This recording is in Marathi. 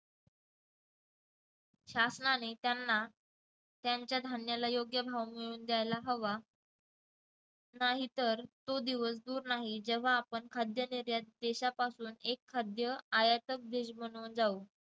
शासनाने त्यांना त्यांच्या धान्याला योग्य भाव मिळून द्यायला हवा नाहीतर तो दिवस दूर नाही जेव्हा आपण खाद्य निर्यात देशापासून एक खाद्य आयात देश बनवत जाऊ.